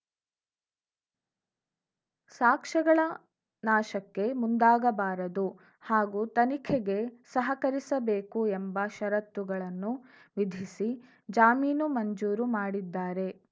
ಸಾಕ್ಷ್ಯಗಳ ನಾಶಕ್ಕೆ ಮುಂದಾಗಬಾರದು ಹಾಗೂ ತನಿಖೆಗೆ ಸಹಕರಿಸಬೇಕು ಎಂಬ ಷರತ್ತುಗಳನ್ನು ವಿಧಿಸಿ ಜಾಮೀನು ಮಂಜೂರು ಮಾಡಿದ್ದಾರೆ